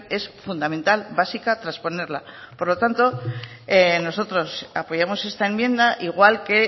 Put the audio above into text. es fundamental básica trasponerla por lo tanto nosotros apoyamos esta enmienda igual que